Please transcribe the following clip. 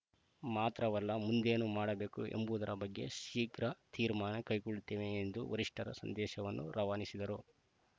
ಮಾತ್ರವಲ್ಲ ಮುಂದೇನು ಮಾಡಬೇಕು ಎಂಬುವುದರ ಬಗ್ಗೆ ಶೀಘ್ರ ತೀರ್ಮಾನ ಕೈಗೊಳ್ಳುತ್ತೇವೆ ಎಂದು ವರಿಷ್ಠರ ಸಂದೇಶವನ್ನು ರವಾನಿಸಿದರು